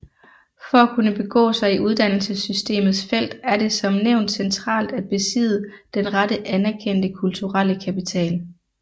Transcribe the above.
For at kunne begå sig i uddannelsessystemets felt er det som nævnt centralt at besidde den rette anerkendte kulturelle kapital